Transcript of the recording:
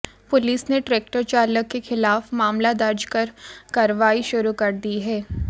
police ने tractor चालक के खिलाफ मामला दर्ज कर कार्रवाई शुरू कर दी है